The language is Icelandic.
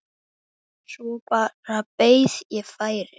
Svo bara beið ég færis.